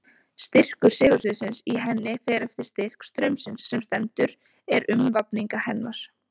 Styrkur segulsviðsins í henni fer eftir styrk straumsins sem sendur er um vafninga hennar.